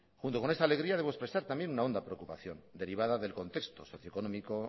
junto con esta alegría debo expresar también una honda preocupación derivada del contexto socioeconómico